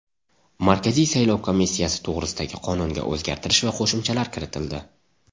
Markaziy saylov komissiyasi to‘g‘risidagi qonunga o‘zgartish va qo‘shimchalar kiritildi.